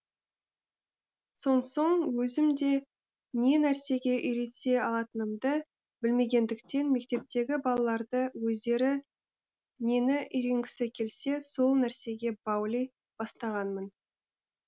сонсоң өзім де не нәрсеге үйрете алатынымды білмегендіктен мектептегі балаларды өздері нені үйренгісі келсе сол нәрсеге баули бастағанмын